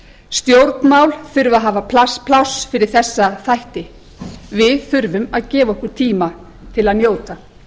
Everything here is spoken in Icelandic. stjórnmál þurfa að hafa pláss fyrir þessa þætti við þurfum að gefa okkur tíma til að njóta